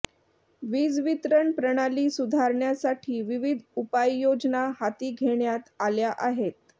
वीजवितरण प्रणाली सुधारण्यासाठी विविध उपाययोजना हाती घेण्यात आल्या आहेत